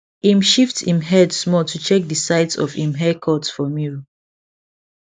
im shift im head small to check the sides of im haircut for mirror